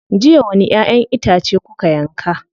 Jiya wani ƴaʼƴen itace kuka yanka.